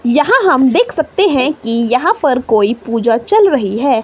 यहां हम देख सकते हैं कि यहां पर कोई पूजा चल रही है।